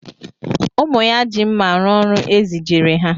Ụmụ ya ji mma arụ ọrụ e zijere ha